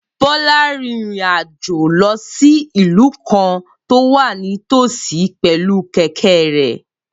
Bola rin ìrìn àjò lọ sí ìlú kan tó wà nítòsí pẹ̀lú kẹ̀kẹ́ rẹ̀